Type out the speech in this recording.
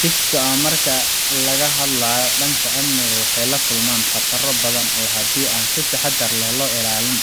Chicks-ka marka laga hadlayo dhanka amniga, waxay la kulmaan khataro badan oo haddii aan si taxadar leh loo ilaalin